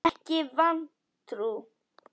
Ekki vantrú.